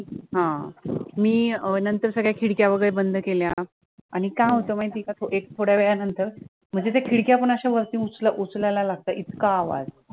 हा मी नंतर सगळ्या खिडक्या वगैरे बंद केल्या आणि काय होतं माहितीय का एक थोड्या वेळानंतर की त्या खिडक्या पण अश्या वरती उच उचलायला लागतात इतका आवाज